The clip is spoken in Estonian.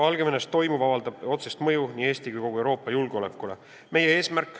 Valgevenes toimuv avaldab otsest mõju nii Eesti kui ka kogu Euroopa julgeolekule.